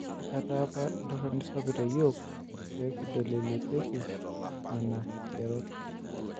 Ketaa apa entoroni sapuk teyiok peekidol eilepieki nena king'erot